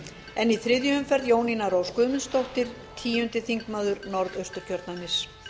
en í þriðju umferð jónína rós guðmundsdóttir tíundi þingmaður norðausturkjördæmis